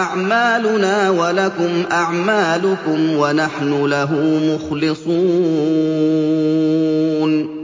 أَعْمَالُنَا وَلَكُمْ أَعْمَالُكُمْ وَنَحْنُ لَهُ مُخْلِصُونَ